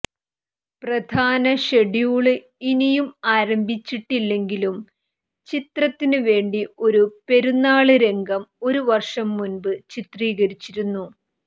പ്രധാന ഷെഡ്യൂള് ഇനിയും ആരംഭിച്ചിട്ടില്ലെങ്കിലും ചിത്രത്തിനുവേണ്ടി ഒരു പെരുന്നാള് രംഗം ഒരു വര്ഷം മുന്പ് ചിത്രീകരിച്ചിരുന്നു